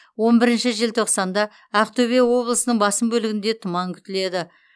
он бірінші желтоқсанда ақтөбе облысының басым бөлігінде тұман күтіледі